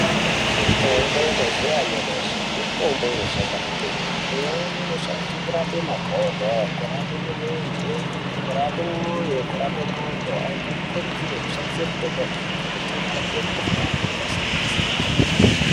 Mitombo yemazuva anyamashi mitombo inoshanda kwemene imweni inoshandiswa kurapa makodo kurape mirenje kurape ngondlo antu anokurudzirwa kushandisa mitombo iyi ngekuti inorapa mikuhlani yakasiyana-siyana.